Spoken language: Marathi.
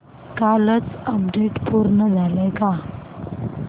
कालचं अपडेट पूर्ण झालंय का